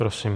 Prosím.